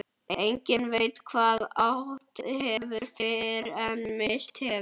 Enginn veit hvað átt hefur fyrr en misst hefur.